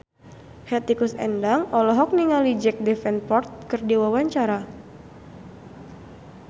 Hetty Koes Endang olohok ningali Jack Davenport keur diwawancara